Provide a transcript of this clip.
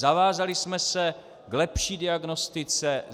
Zavázali jsme se k lepší diagnostice.